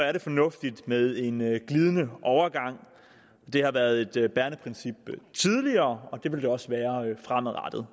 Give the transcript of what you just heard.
er det fornuftigt med en glidende overgang det har været et bærende princip tidligere og det vil det også være fremadrettet